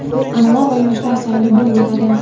an’ana va yoshlar sayli bo‘lib o‘tadi.